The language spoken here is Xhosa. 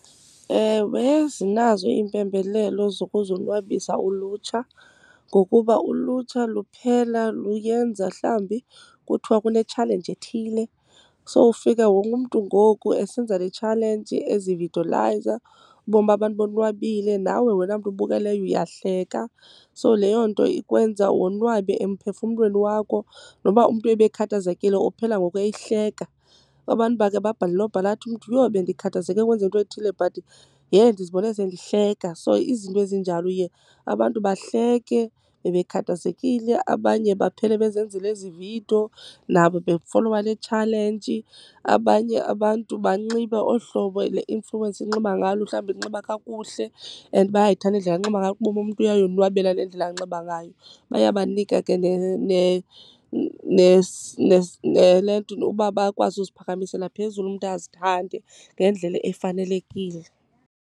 Ewe, zinazo iimpembelelo zokuzonwabisa ulutsha. Ngokuba ulutsha luphela luyenza, mhlawumbi kuthiwa kunetshalenji ethile. So ufika wonke umntu ngoku esenza le tshalenji, ezividolayiza. Ubone uba abantu bonwabile, nawe wena mntu ubukeleyo uyahleka. So leyo nto ikwenza wonwabe emphefumlweni wakho. Noba umntu ebekhathazekile uphela ngoku eyihleka. Abantu bake babhale nobhala athi umntu, yho bendikhathazeke kwenzeke into ethile but yhe ndizibone sendihleka. So izinto ezinjalo, uye abantu bahleke bebekhathezekile abanye baphele bezenzela ezi vidiyo nabo befolowa le tshalenji. Abanye abantu banxibe olu hlobo le influencer inxiba ngalo. Mhlawumbi inxiba kakuhle and bayayithanda indlela anxiba ngayo, ubone uba umntu uyayonwabela le ndlela anxiba ngayo. Bayabanika ke nele nto, noba bakwazi uziphakamisela phezulu umntu azithande ngendlela efanelekile.